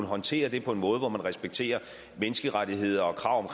håndtere det på en måde der respekterer menneskerettigheder og krav